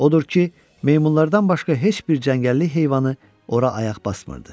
Odur ki, meymunlardan başqa heç bir cəngəllik heyvanı ora ayaq basmırdı.